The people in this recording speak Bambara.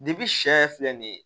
sɛ yɛrɛ filɛ nin ye